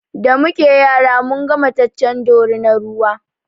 Da muke yara munga mataccen dorinar ruwa